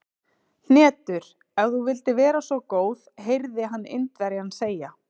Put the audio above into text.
Hnetur, ef þú vildir vera svo góð heyrði hann Indverjann segja.